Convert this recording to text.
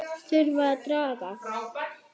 Það þurfti að draga